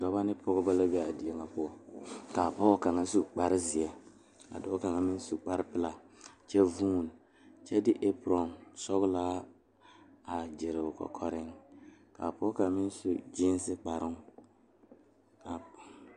Dɔɔba ne pɔgeba la kaa dɔɔ kaŋa a are a su kpare pelaa kaa Yiri a die dankyini are kaa kolbaare a dɔgle tabol zu.